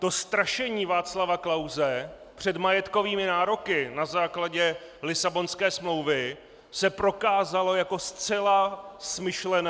To strašení Václava Klause před majetkovými nároky na základě Lisabonské smlouvy se prokázalo jako zcela smyšlené.